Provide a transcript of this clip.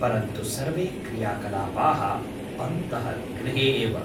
परन्तु सर्वे क्रियाकलापाः अन्तःगृहे एव।